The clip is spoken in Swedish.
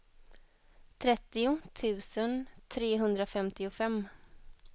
trettio tusen trehundrafemtiofem